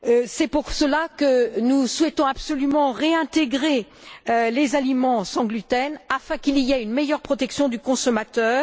C'est pour cela que nous souhaitons absolument réintégrer les aliments sans gluten afin qu'il y ait une meilleure protection du consommateur.